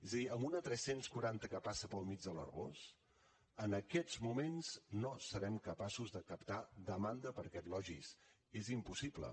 és a dir amb una tres cents i quaranta que passa pel mig de l’arboç en aquests moments no serem capaços de captar demanda per a aquest logis és impossible